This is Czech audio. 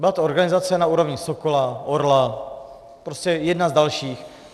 Byla to organizace na úrovni Sokola, Orla, prostě jedna z dalších.